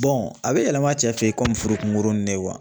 Bɔn a be yɛlɛma cɛ fe yen komi furu kunkurunin ne kuwa